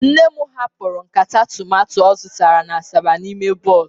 Nne'm hapụrụ nkata tomato ọ zụtara na asaba n'ime bọs